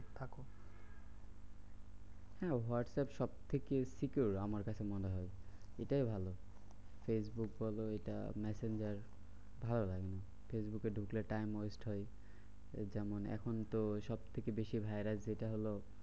হম WhatsApp সবথেকে secure আমার কাছে মনে হয় এটাই ভালো ফেসবুক বলো এটা ম্যাসেঞ্জার ভালো লাগে না। ফেসবুকে ঢুকলে time waste হয়। ওই যেমন এখন তো সবথেকে বেশি virus যেটা হলো